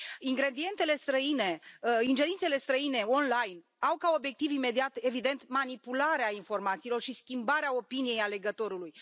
Ingerințele străine online au ca obiectiv imediat, evident, manipularea informațiilor și schimbarea opiniei alegătorului.